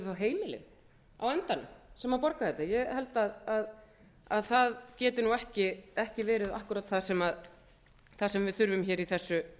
heimilin á endanum sem borga þetta ég held að það geti nú ekki verið akkúrat það sem við þurfum hér í þessu